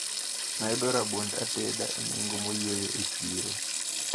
Nayudo rabond ateda e nengo moyweyo e chiro.